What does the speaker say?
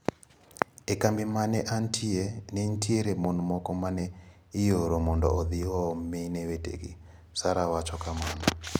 "E kambi ma ne antie, ne nitiere mon moko ma ne ioro mondo odhi oom mine wetegi," Sarah wacho kamano.